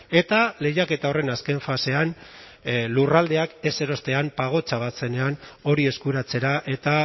eta lehiaketa horren azken fasean lurraldeak ez erostean pagotxa bat zenean hori eskuratzera eta